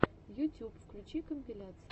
ютюб включи компиляции